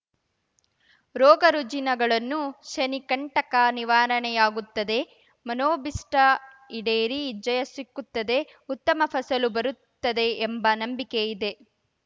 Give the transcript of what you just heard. ರೋಗ ರುಜಿನಗಳನ್ನು ಶನಿ ಕಂಟಕ ನಿವಾರಣೆಯಾಗುತ್ತದೆ ಮನೋಭಿಷ್ಟಈಡೇರಿ ಜಯ ಸಿಕ್ಕುತ್ತದೆ ಉತ್ತಮ ಫಸಲು ಬರುತ್ತದೆ ಎಂಬ ನಂಬಿಕೆ ಇದೆ